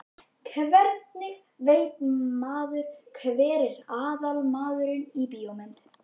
Hvernig veit maður hver er aðalmaðurinn í bíómynd?